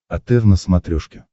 отр на смотрешке